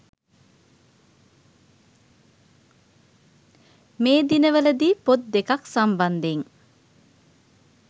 මේ දිනවල දී පොත් දෙකක් සම්බන්ධයෙන්